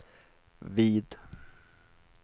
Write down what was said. vid